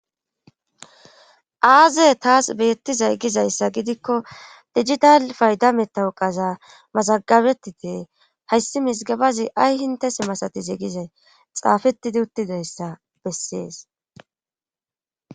aaze taas beettizay gizayssa gidikko digital fayda metawuqaza mazagabetide hayssi misgabazi ay hinte si masatize gizay xaafetidi uttidayssa bessees